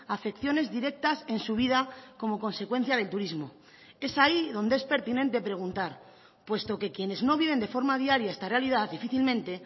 afecciones directas en su vida como consecuencia del turismo es ahí donde es pertinente preguntar puesto que quienes no viven de forma diaria esta realidad difícilmente